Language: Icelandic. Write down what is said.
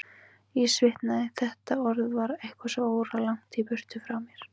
Ég svitnaði, þetta orð var eitthvað svo óralangt í burtu frá mér.